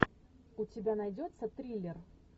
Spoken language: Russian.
у тебя найдется триллер